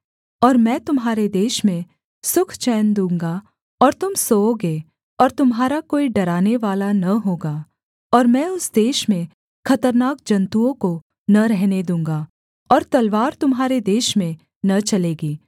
और मैं तुम्हारे देश में सुख चैन दूँगा और तुम सोओगे और तुम्हारा कोई डरानेवाला न होगा और मैं उस देश में खतरनाक जन्तुओं को न रहने दूँगा और तलवार तुम्हारे देश में न चलेगी